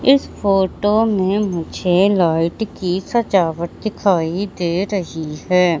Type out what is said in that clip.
इस फोटो में मुझे लाइट की सजावट दिखाई दे रही है।